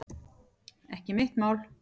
Ekki mitt mál